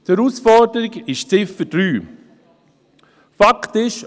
Die Herausforderung ist die Ziffer 3. Fakt ist: